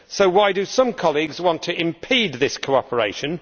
So why do some colleagues want to impede this cooperation?